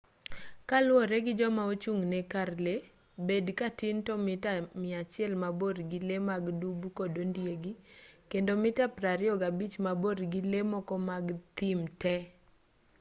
koluwore gi joma ochung'ne kar lee bed katin to mita 100 mabor gi lee mag dubu kod ondiegi kendo mita 25 maborgi lee moko mag thim te